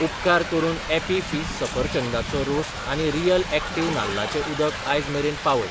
उपकार करून Appy Fizz सफरचंदाचो रोस आनी रियल ॲक्टिव नाल्लाचें उदक आयज मेरेन पावय.